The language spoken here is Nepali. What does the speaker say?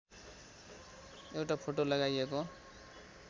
एउटा फोटो लगाइएको